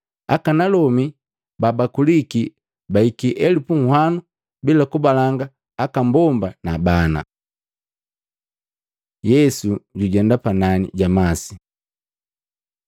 Akanalomi babakuliki baiki elupu unhwano bila kabalanga aka mbomba na bana. Yesu jujenda panani ja masi Maluko 6:45-52; Yohana 6:15-21